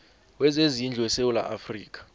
wezezindlu wesewula afrika